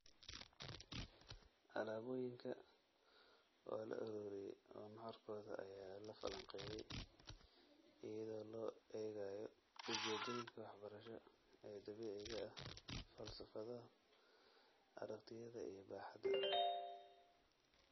Alaabooyinka waa la ururiyay oo nuxurkooda ayaa la falanqeeyay iyadoo loo eegayo ujeeddooyinka waxbarasho ee dabiiciga ah, falsafadaha, aragtiyaha, iyo baaxadda.